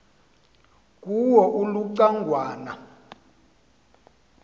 kuwo uluca ngwana